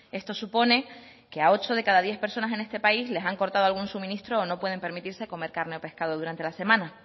esto supone que a ocho de cada diez personas en este país les han cortado algún suministro o no pueden permitirse comer carne o pescado durante la semana